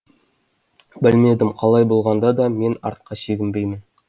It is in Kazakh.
білмедім қалай болғанда да мен артқа шегінбеймін